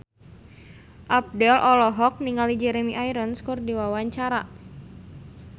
Abdel olohok ningali Jeremy Irons keur diwawancara